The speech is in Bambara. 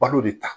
Balo de ta